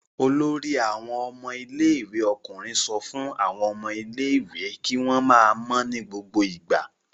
Olórí àwọn ọmọ ilé-ìwé ọkùnrin sọ fún àwọn ọmọ ilé-ìwé kí wọ́n máa mọ́ ní gbogbo ìgbà.